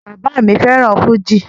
Bàbá mi fẹ́ràn fújì